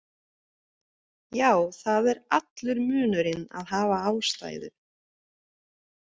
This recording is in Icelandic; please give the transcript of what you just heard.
Já það er allur munurinn að hafa ástæðu.